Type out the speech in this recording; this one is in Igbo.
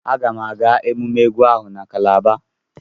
Aga m aga ememme egwu ahụ na Kalaba.